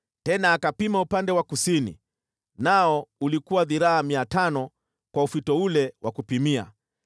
Tena akapima upande wa kusini, nao ulikuwa dhiraa 500 kwa ufito ule wa kupimia.